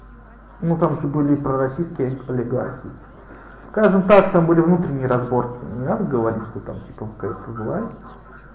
ну там же были и пророссийские олигархи скажем так там были внутренние разборки не надо говорить что там типа какая-то власть